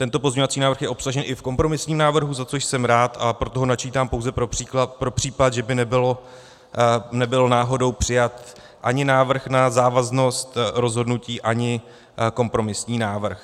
Tento pozměňovací návrh je obsažen i v kompromisním návrhu, za což jsem rád, a proto ho načítám pouze pro případ, že by nebyl náhodou přijat ani návrh na závaznost rozhodnutí, ani kompromisní návrh.